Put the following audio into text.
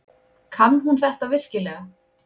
Kann hún þetta virkilega?